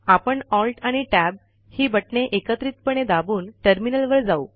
आपण alt आणि tab ही बटणे एकत्रितपणे दाबून टर्मिनलवर जाऊ